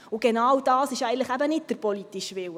– Doch genau dies ist eben nicht der politische Wille.